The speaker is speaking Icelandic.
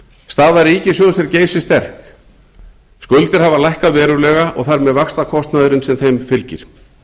staða ríkissjóðs er geysisterk skuldir hafa lækkað verulega og þar með vaxtakostnaðurinn sem þeim fylgir